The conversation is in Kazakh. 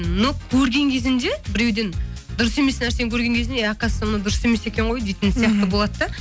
но көрген кезінде біреуден дұрыс емес нәрсені көрген кезінде оказывается мына дұрыс емес екен ғой деген сияқты болады да